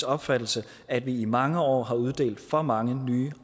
opfattelse at vi i mange år har uddelt for mange nye